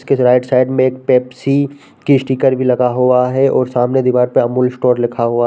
उसके right side में एक पेप्सी की स्टिकर भी लगा हुआ है और सामने दीवार पर अमूल स्टोर लिखा हुआ --